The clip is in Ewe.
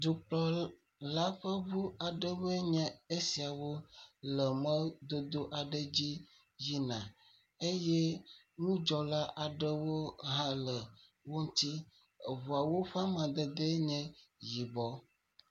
Dukplɔla ƒe aɖewoe nye esiawo le mɔdodo dzi yina. Eye ŋudzɔla aɖewo hã le wo ŋuti. Eŋuawo ƒe amadede ye yibɔ.